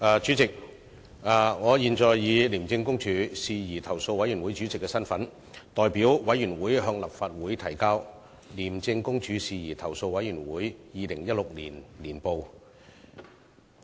主席，我現以廉政公署事宜投訴委員會主席的身份，代表委員會向立法會提交《廉政公署事宜投訴委員會二零一六年年報》。